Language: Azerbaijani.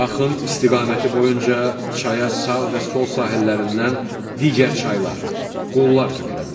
Axın istiqaməti boyunca çaya sağ və sol sahəllərindən digər çaylar, qollar tökülə bilər.